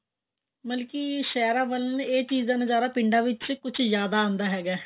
ਮਤਲਬ ਸਹਿਰਾਂ ਵੱਲ ਇਹ ਚੀਜ਼ ਦਾ ਨਜ਼ਾਰਾ ਪਿੰਡਾਂ ਵਿੱਚ ਕੁਛ ਜ਼ਿਆਦਾ ਆਉਂਦਾ ਹੈਗਾ